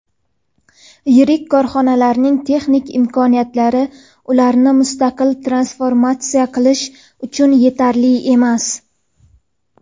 yirik korxonalarning texnik imkoniyatlari ularni mustaqil transformatsiya qilish uchun yetarli emas.